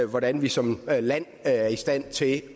hvordan vi som land er i stand til